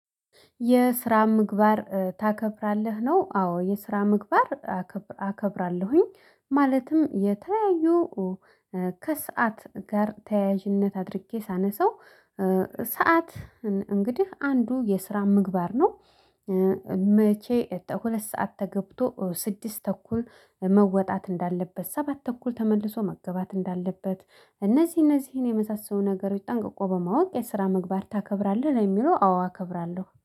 የስራ ምግባር ታከብራለህ ነው? አዎ የስራ ምግባር አከብራለሁኝ ማለትም የተያዩ ከሰአት ጋር ተያያዥነት አድርጌ ሳነሳው ሰዓት እንግዲህ አንዱ የስራ ምግባር ነው። መቼ ሁለት ሰዓት ተገብቶ ስድስት ተኩል መወጣት እንዳለበት ሰባት ተኩል ተመልሶ መገባት እንዳለበት እነዚህ እነዚህን የመሳሰሉ ነገሮች ጠንቅቆ በማወቅ የስራ ምግባር ታከብራለህ ለሚለው አዎ አከብራለሁ